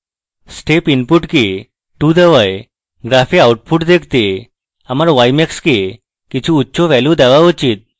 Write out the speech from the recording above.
step input কে 2 দেওয়ায় graph output দেখতে আমার ymax কে কিছু উচ্চ value দেওয়া উচিত